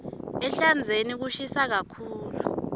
ehlandzeni kushisa kakhulu